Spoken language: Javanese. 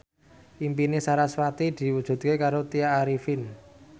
impine sarasvati diwujudke karo Tya Arifin